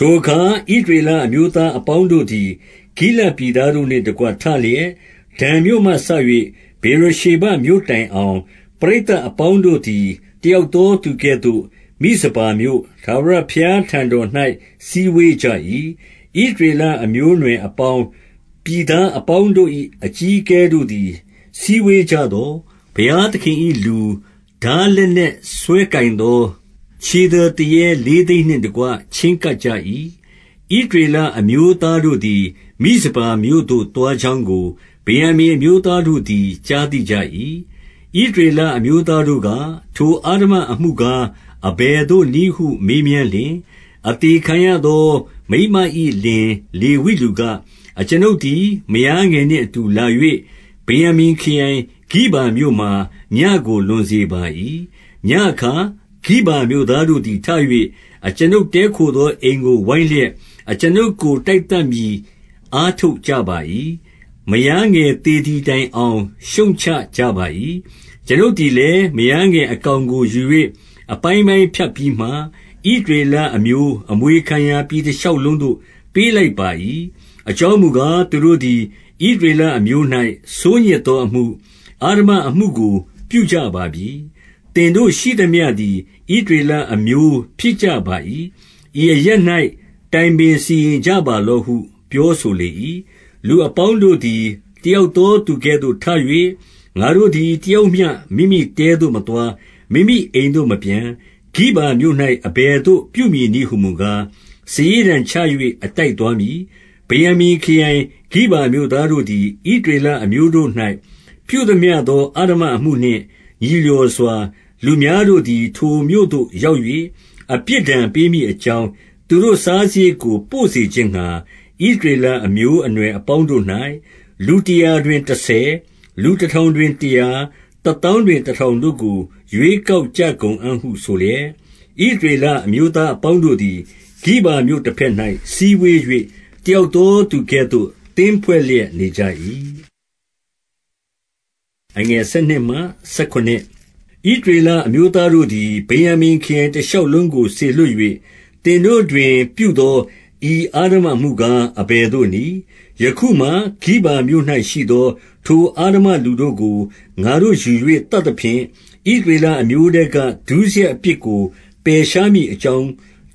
ထိုအခါ ဣသရေလအမျိုးသားအပေါင်းတို့သည်၊ ဂိလဒ်ပြည်သားတို့နှင့်တကွ ထလျက်၊ ဒန်မြို့မှစ၍ ဗေရရှေဘမြို့တိုင်အောင် ပရိသတ်အပေါင်းတို့သည် တယောက်သောသူကဲ့သို့ မိဇပါမြို့၊ ထာဝရဘုရား ထံတော်၌ စည်းဝေးကြ၏။ 2 ဣသရေလ အမျိုးအနွယ်အပေါင်း၊ ပြည်သားအပေါင်းတို့၏ အကြီးအကဲတို့သည် စည်းဝေးကြသော်၊ ဘုရားသခင်၏လူ၊ ထားလက်နက်စွဲကိုင်သော ခြေသည်သူရဲ လေးသိန်းနှင့်တကွ ချဉ်းကပ်ကြ၏။ 3 ဣသရေလအမျိုးသားတို့သည် မိဇပါမြို့သို့ သွားကြောင်းကို ဗင်္ယာမိန်အမျိုးသားတို့သည် ကြားသိကြ၏။ ဣသရေလအမျိုးသားတို့က၊ ထိုအဓမ္မအမှုကား အဘယ်သို့နည်းဟု မေးမြန်းလျှင်၊- 4 အသေခံရသော မိန်းမ၏လင် လေဝိလူက၊ အကျွန်ုပ်သည် မယားငယ်နှင့်အတူလာ၍ ဗင်္ယာမိန် ခရိုင်၊ ဂိဗာမြို့မှာ ညဉ့်ကို လွန်စေပါ၏။ 5 ညဉ့်အခါ ဂိဗာမြို့သားတို့သည် ထ၍ အကျွန်ုပ်တည်းခိုသောအိမ်ကို ဝိုင်းလျက်၊ အကျွန်ုပ်ကို တိုက် သတ်မည် အားထုတ်ကြပါ၏။ မယားငယ် သေသည်တိုင်အောင် ရှုတ်ချကြပါ၏။ - 6 အကျွန်ုပ်သည်လည်း မယားငယ်အကောင်ကိုယူ၍ အပိုင်းပိုင်းဖြတ်ပြီးမှ၊ ဣသရေလအမျိုး အမွေခံ ရာ ပြည်တရှောက်လုံးသို့ ပေးလိုက်ပါ၏။ အကြောင်းမူကား၊ သူတို့သည် ဣသရေလအမျိုး၌ ဆိုးညစ် သောအမှု၊ အဓမ္မအမှုကို ပြုကြပါပြီ။- 7 သင်တို့ရှိသမျှသည် ဣသရေလအမျိုး ဖြစ်ကြပါ၏။ ဤအရပ်၌ တိုင်ပင်စီရင်ကြပါလော့ဟု ပြောဆို လေ၏။- 8 လူအပေါင်းတို့သည် တယောက်သောသူကဲ့သို့ ထ၍ ငါတို့သည် တယောက်မျှ မိမိတဲသို့မသွား၊ မိမိ အိမ်သို့မပြန်။- 9 ဂိဗာမြို့၌ အဘယ်သို့ ပြုမည်နည်း ဟူမူကား၊ စာရေးတံချ၍ အတိုက်သွားမည်။ 10 ဗင်္ယာမိန်ခရိုင် ဂိဗာမြို့သားတို့သည်၊ ဣသရေလအမျိုးတို့၌ ပြုသမျှသော အဓမ္မအမှုနှင့် ညီလျော်စွာ လူများတို့သည် ထိုမြို့သို့ရောက်၍ အပြစ်ဒဏ်ပေးမည်အကြောင်း၊ သူတို့စားစရိတ်ကို ပို့စေခြင်းငှါ ဣသရေလအမျိုးအနွယ်အပေါင်းတို့၌ လူတရာတွင် တဆယ်၊ တထောင်တွင်တရာ၊ တသောင်းတွင် တထောင်တို့ကို ရွေးကောက်ကြကုန်အံ့ဟု ဆိုလျက်၊ 11 ဣသရေလအမျိုးသားအပေါင်းတို့သည် ဂိဗာမြို့တဘက်၌ စည်းဝေး၍ တယောက်သောသူကဲ့သို့ သင်းဖွဲ့လျက်နေကြ၏။ 12 ဣသရေလအမျိုးသားတို့သည်၊ ဗင်္ယာမိန်ခရိုင်တရှောက်လုံးသို့ စေလွှတ်၍၊ သင်တို့တွင် ပြုသော ဤအဓမ္မအမှုကား အဘယ်သို့နည်း။ 13 ယခုမှာ ဂီဗာမြို့၌ရှိသော ထိုအဓမ္မလူတို့ကို ငါတို့ယူ၍ သတ်သဖြင့် ဣသရေလအမျိုးထဲက ဒုစရိုက် အပြစ်ကို ပယ်ရှားမည်အကြောင်း